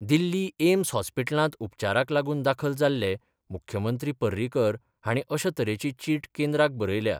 दिल्ली AIIMS हॉस्पीटलांत उपचाराक लागुन दाखल जाल्ले मुख्यमंत्री पर्रीकर हाणी अश्या तरेची चिट केंद्राक बरयल्या.